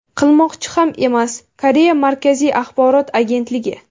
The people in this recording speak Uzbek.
qilmoqchi ham emas – Koreya markaziy axborot agentligi.